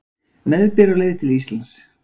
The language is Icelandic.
Meðbyr á leið til Íslands